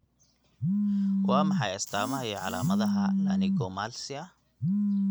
Waa maxay astamaha iyo calaamadaha Laryngomalacia?